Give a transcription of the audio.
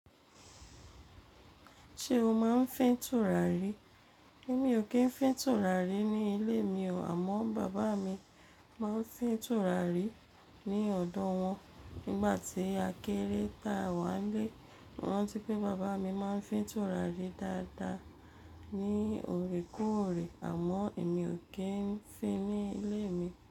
Ṣé o máa ń fín tùràrí? Èmi ò kí ń fín tùràrí ní ilé mi o, àmọ́ bàbá mi máa ń fín tùràrí ní ọ̀dọ́ wọn. Nígbà tí a kéré ta wá n lé, mo rántí pé bàbá mi máa ń fín tùràrí dáadáa ní òrekorè, àmọ́ èmi ò kí ń fín ní ilé mi.